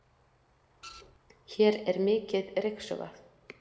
hér er mikið ryksugað